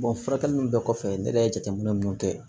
furakɛli nunnu bɛɛ kɔfɛ ne yɛrɛ ye jateminɛ minnu kɛ